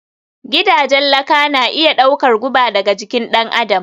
Gidajen laka na iya ɗaukar guba daga jikin ɗan adam